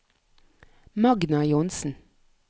Magna Johnsen